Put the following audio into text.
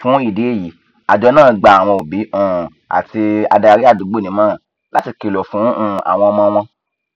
fún ìdí èyí àjọ náà gba àwọn òbí um àti adarí àdúgbò nímọràn láti kìlọ fún um àwọn ọmọ wọn